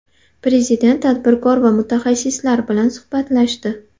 Prezident tadbirkor va mutaxassislar bilan suhbatlashdi.